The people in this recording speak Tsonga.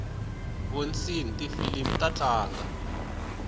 vonsni tifilimi ta tlanga